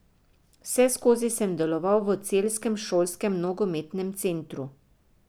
Vseskozi sem deloval v celjskem šolskem nogometnem centru.